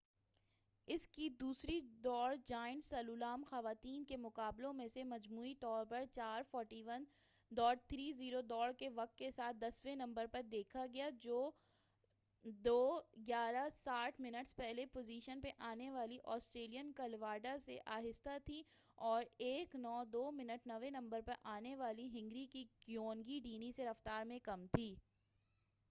اس کی دوسری دوڑ، جائنٹ سلالوم، خواتیں کے مقابلوں میں اسے مجموعی طور پر 4:41.30 دوڑ کے وقت کے ساتھ، دسویں نمبر پے دیکھا گیا جو 2:11.60 منٹس پہلی پوزیشن پے آنے والی آسٹریلین کلاوڈا سے آہستہ تھی اور 1:09.02 منٹس نویں نمبر پر آنے والی ہنگری کی گیونگی ڈینی سے رفتار میں کم تھی۔